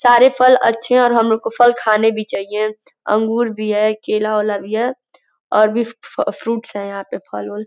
सारे फल अच्छे हैं और हम लोग को फल खाने भी चाहिए। अंगूर भी है केला-ओला भी है और भी फ-फ्रूट्स हैं यहां पे फल-ओल।